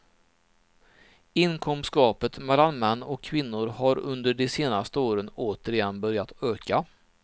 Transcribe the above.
Inkomstgapet mellan män och kvinnor har under de senaste åren återigen börjat öka.